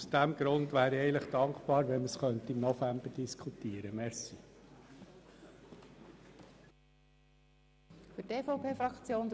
Aus diesem Grund wäre ich dankbar, wenn wir die Motion im November behandeln könnten.